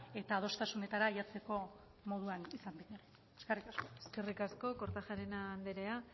eta adostasunetara heltzeko moduan izango gara eskerrik asko eskerrik asko kortajarena anderea